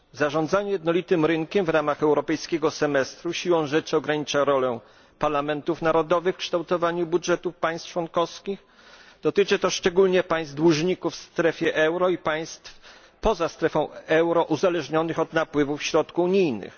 Zarządzanie jednolitym rynkiem w ramach europejskiego semestru siłą rzeczy ogranicza rolę parlamentów narodowych w kształtowaniu budżetów państw członkowskich. Dotyczy to szczególnie państw dłużników w strefie euro i państw poza strefą euro uzależnionych od napływu środków unijnych.